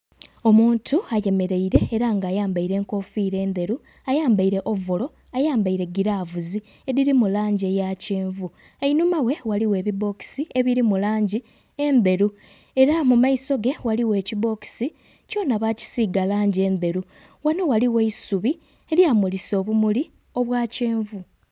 Omuntu ayemereire era nga ayambaire enkofiira endheru, ayambaire ovolo, ayambaire giravusi edhiri mu langi eya kyenvu. Einhuma ghe ghaligho ebibbokisi ebiri mu langi endheru era mu maiso ge ghaligho ekibbokisi kyona bakisiiga langi endheru, ghano ghaligho eisubi elyamulisa obumuli obwa kyenvu.